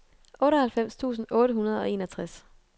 otteoghalvfems tusind otte hundrede og enogtres